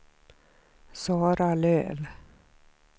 Sara Löf